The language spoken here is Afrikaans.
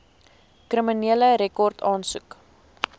kriminele rekord aansoek